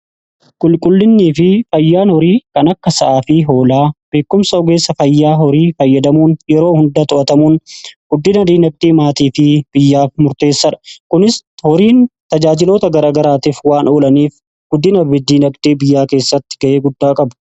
Qulqullinnii fi fayyaan horii kan akka sa'aa fi hoolaa beekumsa ogeessa fayyaa horii fayyadamuun yeroo hundaa to'atamuun diinagdee maatii fi biyyaaf murteessaadha. Kunis horiin tajaajiloota garagaraatiif waan oolaniif diinagdee biyyaa keessatti ga'ee guddaa qabu.